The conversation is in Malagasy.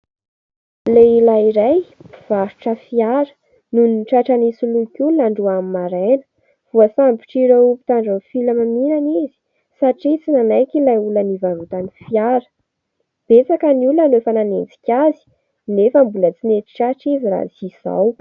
Lehilahy iray mpivarotra fiara no tratra nisoloky olona androany maraina, voasambotr'ireo mpitandron' ny filaminana izy satria tsy nanaiky ilay olana nivarotany fiara. Betsaka ny olona no efa nanenjika azy nefa mbola tsy nety tratra izy raha tsy izao.